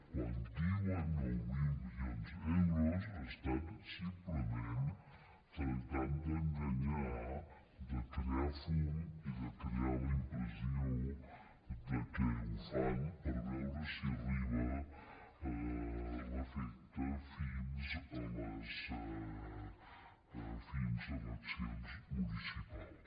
quan diuen nou mil milions d’euros simplement tracten d’enganyar de crear fum i de crear la impressió que ho fan per veure si arriba l’efecte fins a les eleccions municipals